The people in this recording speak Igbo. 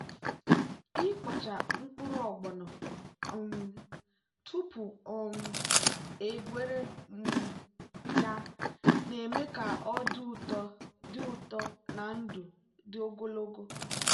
ịkpọcha mkpụrụ ogbono um tupu um egweri um ya na-eme ka ọ dị ụtọ dị ụtọ na ndụ dị ogologo.